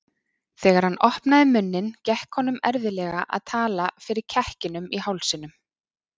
Þegar hann opnaði munninn gekk honum erfiðlega að tala fyrir kekkinum í hálsinum.